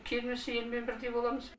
келмесе елмен бірдей боламыз